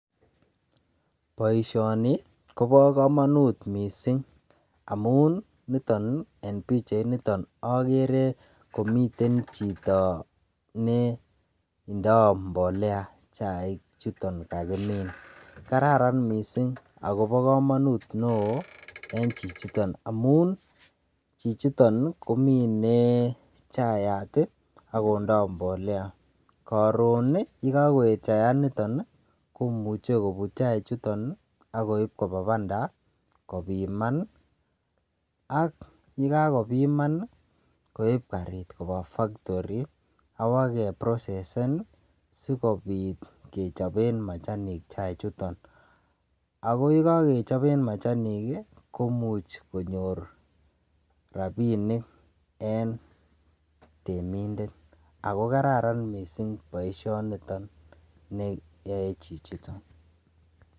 Boisioni kobo kamanut mising amun niton en pichait niton agere komiten chito ne indo mbolea chaik chuton kakimin. Kararan mising agobo kamanut neo en chichiton amun chichiton komine chaiyat agondo mbolea. Karun yekakoet chayaniton komuche kobut chaichuton ak koip koba banda kobiman ak yekakobiman koip karit koba faktori ak ba keprosesen sigopit kechoben machanik chai chuton. Ago ye kakechoben machanik komuch konyor rapinik en temindet ago kararan mising boisionito ne yoe chichiton.